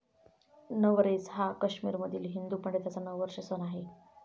नवरेच हा काश्मीरमधील हिंदू पंडितांचा नववर्ष सण आहे.